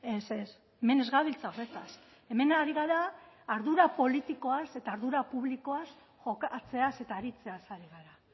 ez ez hemen ez gabiltza horretaz hemen ari gara ardura politikoaz eta ardura publikoa jokatzeaz eta aritzeaz ari gara